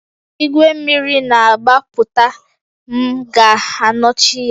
Igwe mmiri na-agbapụta, m ga-anọchi ya